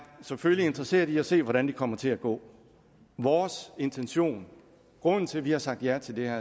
selvfølgelig interesseret i at se hvordan det kommer til at gå vores intention og grunden til at vi har sagt ja til det her